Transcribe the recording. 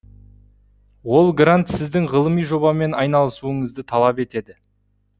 ол грант сіздің ғылыми жобамен айналысуыңызды талап етеді